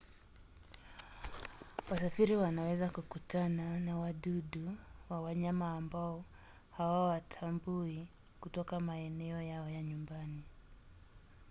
wasafiri wanaweza kukutana na wadudu wa wanyama ambao hawawatambui kutoka maeneo yao ya nyumbani